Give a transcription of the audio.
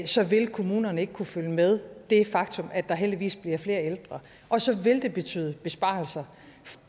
så vil kommunerne ikke kunne følge med det faktum at der heldigvis bliver flere ældre og så vil det betyde besparelser